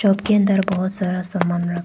उसके अंदर बहुत सारा सामान रखा--